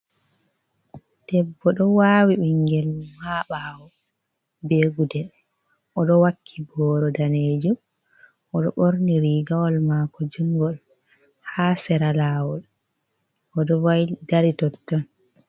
Debbo ɗo wawi ɓingel mun ha ɓawo be gudel, o ɗo wakki boro danejum, o ɗo ɓorni rigawal mako jungol, ha sera lawol o ɗo dari tottan.